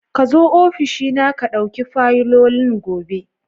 Ka zo ofishi na ka ɗauki fayilolin gobe.